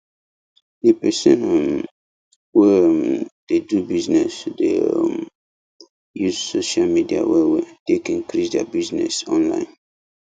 the person um wey um dey do bussiness dey um use social media well well take increase their bussiness online